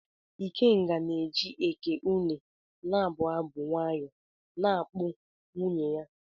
Ikenga na-eji Eké-ùnè na-abụ abụ nwayọ na-akpụ nwunye ya.